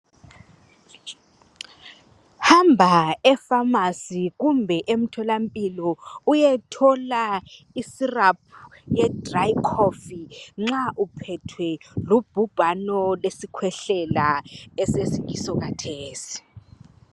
Hamba efamasi kumbe emtholampilo uyethola isiraphu ye dirayi khofu nxa uthwelwe lubhubhano lwesikhwehlela esesiyiso kathesi